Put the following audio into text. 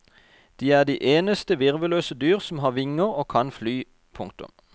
De er de eneste virvelløse dyr som har vinger og kan fly. punktum